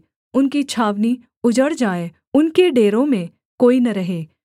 उनकी छावनी उजड़ जाए उनके डेरों में कोई न रहे